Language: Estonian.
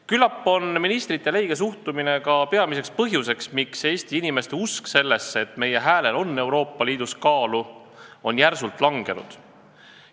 Küllap on ministrite leige suhtumine ka peamine põhjus, miks Eesti inimeste usk sellesse, et meie häälel on Euroopa Liidus kaalu, on järsult vähenenud.